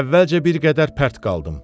Əvvəlcə bir qədər pərt qaldım.